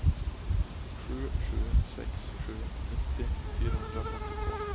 sju sju sex sju nittio fyrahundrafemtiotvå